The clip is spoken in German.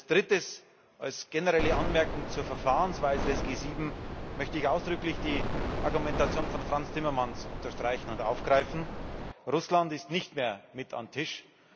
Drittens Als generelle Anmerkung zur Verfahrensweise der G7 möchte ich ausdrücklich die Argumentation von Frans Timmermans unterstreichen und aufgreifen Russland ist nicht mehr mit am Tisch.